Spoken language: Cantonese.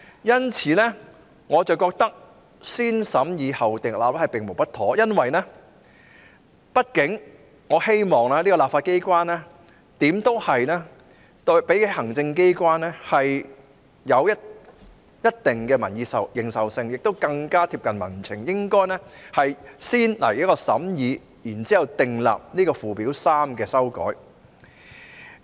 因此，我認為"先審議後訂立"並無不妥，因為立法機關畢竟較行政機關更具民意認受性，亦更加貼近民情，所以應該先行審議，然後才對附表3作出修訂。